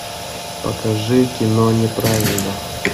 покажи кино неправильно